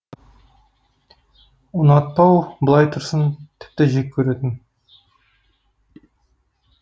ұнатпау былай тұрсын тіпті жек көретін